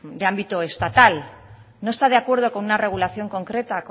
de ámbito estatal no está de acuerdo con una regulación concreta